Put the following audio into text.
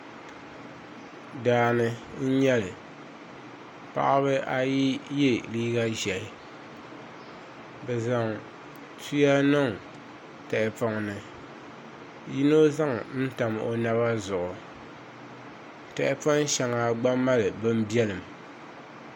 Daani n nyɛli paɣaba ayi yɛ liiga ʒiɛhi bi zaŋ tuya niŋ tahapoŋ ni yino zaŋ tam o naba zuɣu tahapoŋ shɛŋa gba mali bin biɛlim